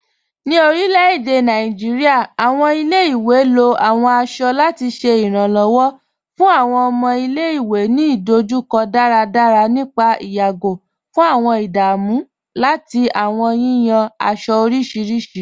Ní orilẹ̀-èdè Nàìjíríà, awọn ilẹ̀-ìwé ló awọn aṣọ lati ṣẹ iranlọ́wọ fun awọn ọmọ ilẹ̀-ìwé ni idojukọ daradara nípà ìyàgó fun awọn ìdámù lati awọn yiyan aṣọ orísiríṣi.